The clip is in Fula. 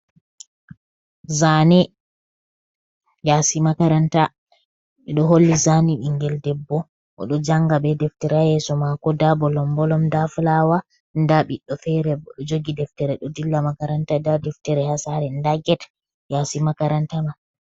Zaane, yaasi makaranta, ɓe ɗo holli zaani ɓinngel debbo oɗo jannga bee deftere yeeso maako, ndaa bolombolom, ndaa fulaawa daa biɗɗo feere bo o jogi deftere ɗo dilla makaranta, ndaa deftere ha saaree ndaa get haa yaasi makaranta mai.